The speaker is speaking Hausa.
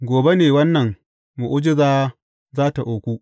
Gobe ne wannan mu’ujiza za tă auku.’